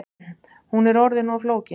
Hún er orðin of flókin